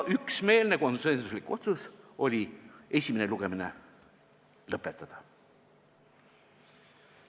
Üksmeelne, konsensuslik otsus oli: esimene lugemine lõpetada.